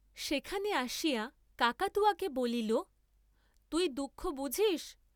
সেখানে আসিয়া কাকাতুয়াকে বলিল তুই দুঃখ বুঝিস্?